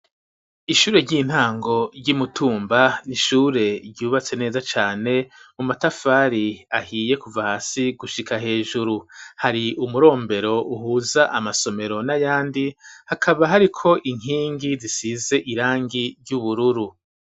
Ishure ry'intango ryi Mutumba n'ishure ryubatse neza cane mu matafari ahiye kuva hasi gushika hejuru hari umurombero uhuza amasomero n'ayandi hakaba hariko inkingi zisize irangi ry'ubururu .